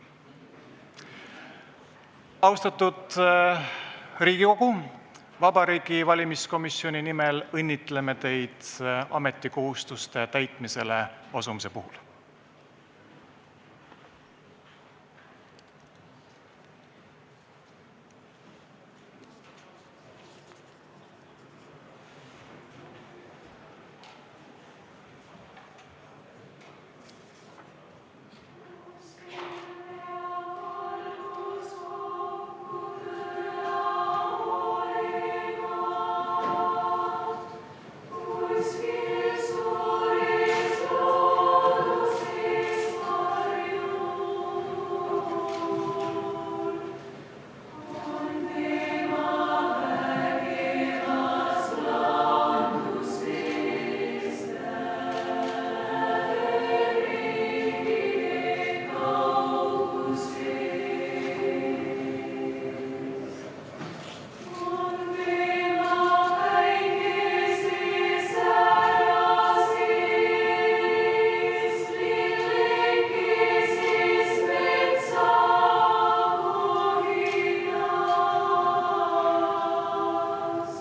Austatud Riigikogu, Vabariigi Valimiskomisjoni nimel õnnitlen teid ametikohustuste täitmisele asumise puhul!